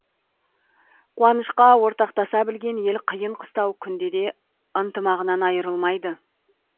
қуанышқа ортақтаса білген ел қиын қыстау күнде де ынтымағынан айырылмайды